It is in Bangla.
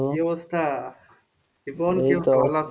কি অবস্থা,